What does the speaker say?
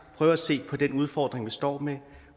prøver at se på den udfordring vi står med